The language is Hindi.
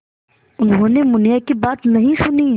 उन्होंने मुनिया की बात नहीं सुनी